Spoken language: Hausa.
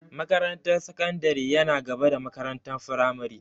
Makarantar sakandari yana gaba da makarantar firamare.